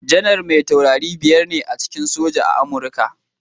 Janaral mai tauraro biyar ne a cikin soja a Amurka.